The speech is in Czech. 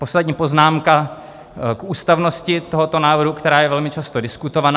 Poslední poznámka k ústavnosti tohoto návrhu, která je velmi často diskutována.